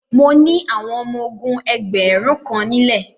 Mo ni àwọn ọmọ ogún ẹgbẹ̀rún kan nílẹ.